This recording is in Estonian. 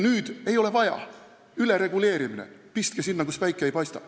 Nüüd ei ole seda vaja – ülereguleerimine, pistke sinna, kus päike ei paista.